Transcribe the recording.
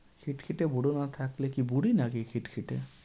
খিটখিটে বুড়ো না থাকলে কি বুড়ি নাকি খিটখিটে?